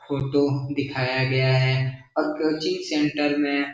photo दिखाया गया है और कोचिंग सेंटर में --